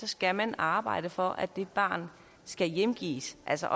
skal man arbejde for at det barn skal hjemgives altså